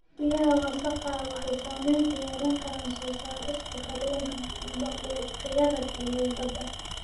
Biyaha wasakhda ah waxay saameyn ku yeelan karaan soo saarista kalluunka iyo makhluuqyada kale ee badda.